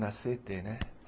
Na cê tê, né?